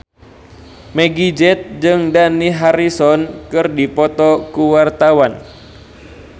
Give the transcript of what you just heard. Meggie Z jeung Dani Harrison keur dipoto ku wartawan